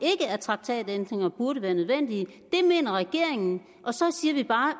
at traktatændringer burde være nødvendige det mener regeringen og så siger vi bare